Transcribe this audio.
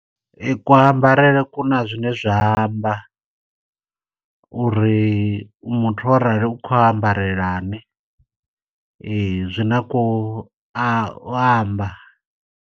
Kuambarele kuna zwine zwa amba, uri muthu o rali u khou ambarelani. Ee, zwi na ku a amba.